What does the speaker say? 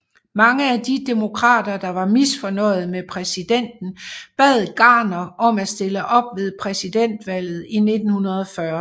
Mange af de demokrater der var misfornøjede med præsidenten bad Garner om at stille op ved præsidentvalget i 1940